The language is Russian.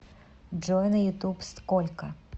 джой на ютуб сколько